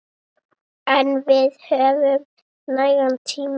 En við höfum nægan tíma.